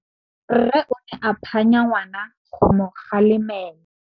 Rre o ne a phanya ngwana go mo galemela.